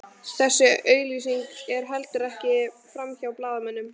Þessi auglýsing fór heldur ekki framhjá blaðamönnum